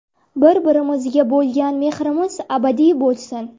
Bir-birimizga bo‘lgan mehrimiz abadiy bo‘lsin!